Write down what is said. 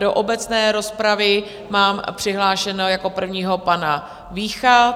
Do obecné rozpravy mám přihlášeného jako prvního pana Vícha.